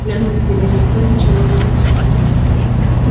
клянусь тебе никто ничего не узнает